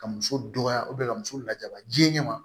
Ka muso dɔgɔya ka muso lajaba jinɛ ma